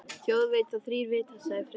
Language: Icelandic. Þjóð veit þá þrír vita sagði Friðrik.